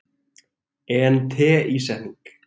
en teísetning